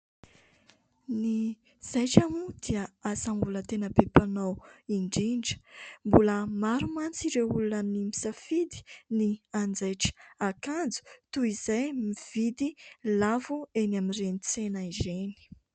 Ny zaitra moa dia asa mbola tena be mpanao indrindra, mbola maro mantsy ireo olona ny misafidy ny anjaitra akanjo toa izay mividy lafo eny Amin'ireny tsena ireny.